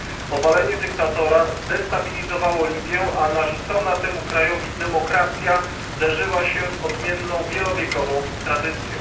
Obalenie dyktatora zdestabilizowało Libię, a narzucona temu krajowi demokracja zderzyła się z odmienną, wielowiekową tradycją.